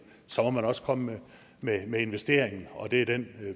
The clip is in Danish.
må man også komme med med investeringen og det er den